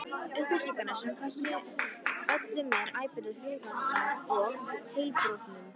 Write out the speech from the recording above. Upplýsingar sem þessar ollu mér óbærilegu hugarangri og heilabrotum.